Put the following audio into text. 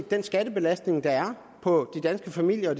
den skattebelastning der er på de danske familier og